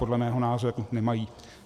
Podle mého názoru nemají.